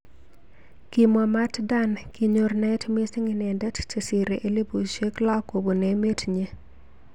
Kimwa Mat Dan kinyor naet mising inendet chesirei elipushek lo kobun emet nyi.